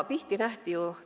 Pihti nähti ju!